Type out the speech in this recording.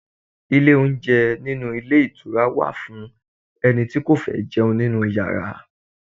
Ilé oúnjẹ inú ilé ìtura wà fún ẹni tí kò fẹ́ jẹun nínú Ìyàrá.